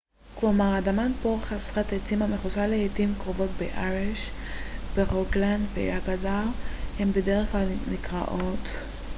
"ברוגלנד ואגדר הן בדרך כלל נקראות "hei" כלומר אדמת בור חסרת עצים המכוסה לעתים קרובות באברש.